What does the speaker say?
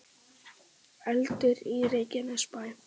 Eldur í Reykjanesbæ